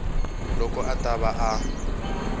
loko a ta va a